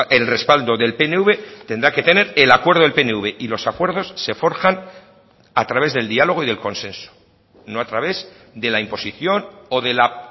el respaldo del pnv tendrá que tener el acuerdo del pnv y los acuerdos se forjan a través del diálogo y del consenso no a través de la imposición o de la